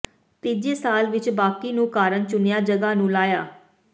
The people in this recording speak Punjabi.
ਤੀਜੇ ਸਾਲ ਵਿਚ ਬਾਕੀ ਨੂੰ ਕਾਰਨ ਚੁਣਿਆ ਜਗ੍ਹਾ ਨੂੰ ਲਾਇਆ